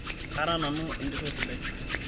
kara nanu entito sidai